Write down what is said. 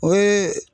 O ye